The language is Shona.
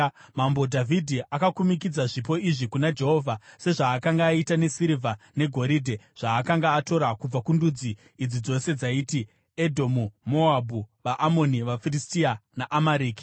Mambo Dhavhidhi akakumikidza zvipo izvi kuna Jehovha sezvaakanga aita nesirivha negoridhe, zvaakanga atora kubva kundudzi idzi dzose dzaiti: Edhomu, Moabhu, vaAmoni, vaFiristia neAmareki.